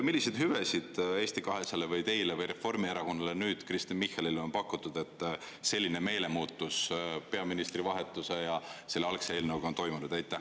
Milliseid hüvesid Eesti 200-le või teile või reformierakondlasele Kristen Michalile nüüd on pakutud, et selline meelemuutus peaministri vahetuse ja selle algse eelnõuga on toimunud?